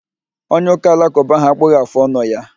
Onye ụka alakụba ahụ akpụghị afụ ọnụ ya